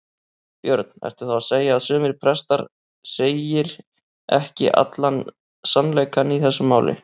Björn: Ertu þá að segja að sumir prestar segir ekki allan sannleikann í þessu máli?